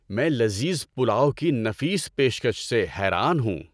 میں لذیذ پلاؤ کی نفیس پیشکش سے حیران ہوں۔